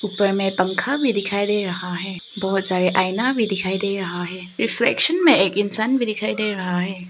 उपर में पंखा भी दिखाई दे रहा है बहोत सारा आईना भी दिखाई दे रहा है रिफ्लेक्शन में एक इंसान भी दिखाई दे रहा है।